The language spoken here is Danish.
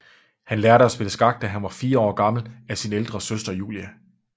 Han lærte at spille skak da han var 4 år gammel af sin ældre søster Julia